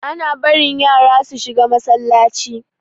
Ana barin yasa su shiga Masallaci.